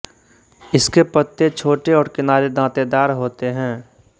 इसके पत्ते छोटे और किनारे दांतेदार होते है